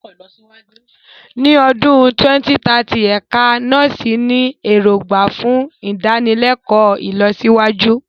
Ní ọdún 2030, Ẹ̀ka Nọ́ọ̀sì ní èrògbà fún ìdánilẹ́kọ̀ọ́ ìlọsíwájú.